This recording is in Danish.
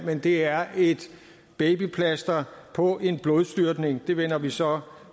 men det er et babyplaster på en blodstyrtning det vender vi så